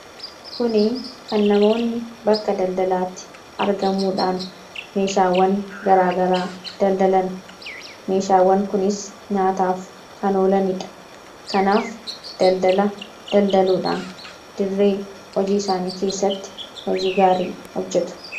kuni kan namoonni bakka daldalaatti argamuudhaan meeshaawwan garaagaraa daldalan meeshaawwan kunis nyaataaf kanoolaniidha kanaaf daldala daldaluudhaan dirree hojii isaanii keessatti hojii gaarii hojjetu